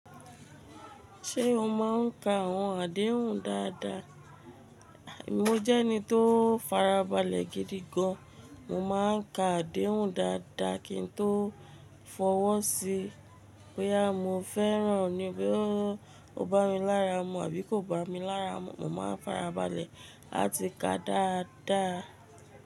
Ṣé o máa ń ka àwọn àdéhùn dáadáa? Mo jẹ́ ẹni tó farabalẹ̀ gidi gan. Mo máa ń ka àdéhùn dáadáa kí n tó fọwọ́ sí i. Bóyá mo fẹ́ràn ní bí ó bá mi lára mu àbí kò bá mi lára mu, mo máa farabalẹ̀ láti ka dáadáa.